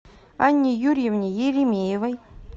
анне юрьевне еремеевой